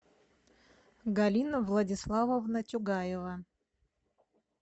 галина владиславовна тюгаева